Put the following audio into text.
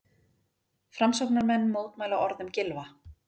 Framsóknarmenn mótmæla orðum Gylfa